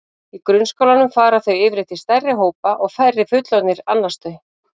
Í grunnskólanum fara þau yfirleitt í stærri hópa og færri fullorðnir annast þau.